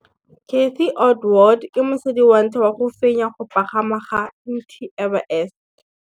Cathy Odowd ke mosadi wa ntlha wa go fenya go pagama ga Mt Everest.